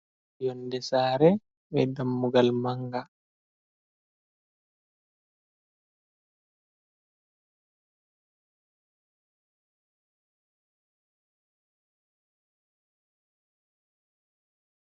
Yonnde saare, be dammugal mannga.